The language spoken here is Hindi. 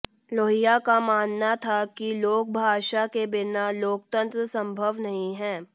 लोहिया का मानना था की लोकभाषा के बिना लोकतंत्र सम्भव नहीं है